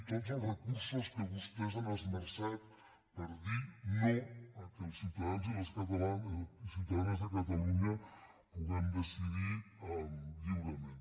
tots els recursos que vostès han esmerçat per dir no que els ciutadans i ciutadanes de catalunya puguem decidir lliurement